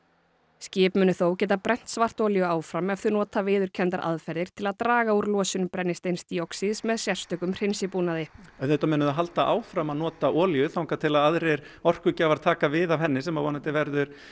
skip munu þó geta brennt svartolíu áfram ef þau nota viðurkenndar aðferðir til að draga úr losun brennisteinsdíoxíðs með sérstökum hreinsibúnaði auðvitað munu þau halda áfram að nota olíu þar til aðrir orkugjafar taka við af henni sem vonandi verður